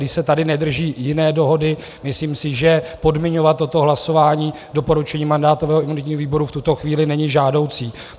Když se tady nedrží jiné dohody, myslím si, že podmiňovat toto hlasování doporučením mandátového a imunitního výboru v tuto chvíli není žádoucí.